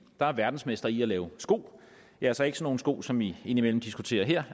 der er verdensmester i at lave sko altså ikke sådan nogle sko som vi indimellem diskuterer her